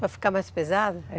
Para ficar mais pesado? É.